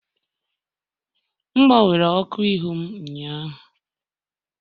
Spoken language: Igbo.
M gbanwere ọkụ ihu m ụnyaahụ